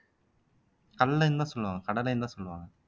கல்லைன்னுதான் சொல்லுவாங்க கடலைன்னுதான் சொல்லுவாங்க